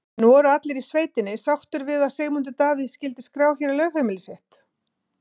En voru allir í sveitinni sáttir við að Sigmundur Davíð skyldi skrá hér lögheimili sitt?